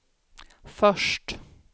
först